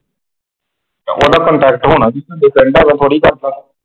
ਉਹਦਾ ਕੰਟੈਕਟ ਹੋਣਾ ਸੀ ਤੁਹਾਡੇ ਪਿੰਡ ਐਵੇਂ ਥੋੜ੍ਹੀ ਕਰਦਾ।